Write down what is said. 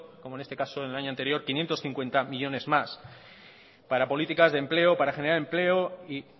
como en este caso en el año anterior quinientos cincuenta millónes más para políticas de empleo para generar empleo y